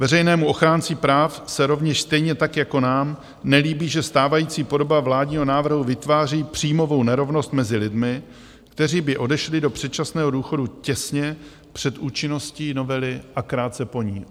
Veřejnému ochránci práv se rovněž, stejně tak jako nám, nelíbí, že stávající podoba vládního návrhu vytváří příjmovou nerovnost mezi lidmi, kteří by odešli do předčasného důchodu těsně před účinností novely a krátce po ní.